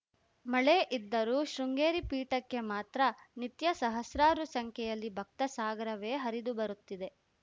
ಮಳೆ ಇದ್ದರೂ ಶೃಂಗೇರಿ ಪೀಠಕ್ಕೆ ಮಾತ್ರ ನಿತ್ಯ ಸಹಸ್ರಾರು ಸಂಖ್ಯೆಯಲ್ಲಿ ಭಕ್ತಸಾಗರವೇ ಹರಿದುಬರುತ್ತಿದೆ